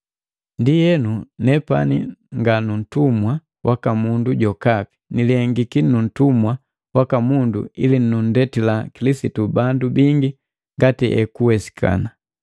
Ndienu nepani nganuntumwa waka mundu jokapi, nilihengiki nuntumwa waka mundu ili nundetila Kilisitu bandu bingi ngati ekuwesikana.